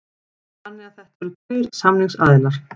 Þannig að þetta eru tveir samningsaðilar